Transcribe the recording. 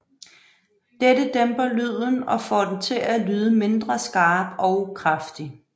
Dette dæmper lyden og får den til at lyde mindre skarp og kraftig